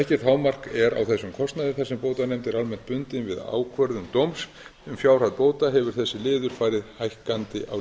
á þessum kostnaði þar sem bótanefnd er almennt bundin við ákvörðun dóms um fjárhæð bóta hefur þessi liður farið hækkandi